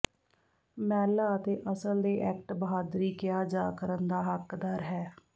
ਮਹਿਲਾ ਅਤੇ ਅਸਲ ਦੇ ਐਕਟ ਬਹਾਦਰੀ ਕਿਹਾ ਜਾ ਕਰਨ ਦਾ ਹੱਕਦਾਰ ਹੈ